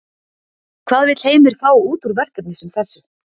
Hvað vill Heimir fá út úr verkefni sem þessu?